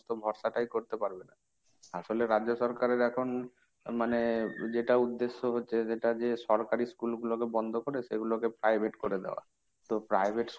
তো ভরসা টাই করতে পারবে না। আসলে রাজ্য সরকারের এখন মানে যেটা উদ্দেশ্য হচ্ছে সেটা যে সরকারি school গুলোকে বন্ধ করে সেগুলোকে private করে দেওয়া। তো private